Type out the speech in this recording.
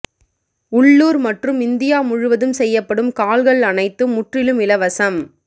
உள்ளூர் மற்றும் இந்தியா முழுவதும் செய்யப்படும் கால்கள் அனைத்தும் முற்றிலும் இலவசம்